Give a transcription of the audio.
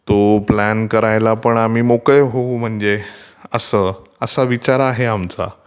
तो प्लान करायला पण आम्ही मोकळे होऊ म्हणजे असं. असा विचार आहे आमचा.